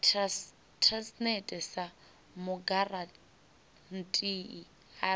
transnet sa mugarantii a re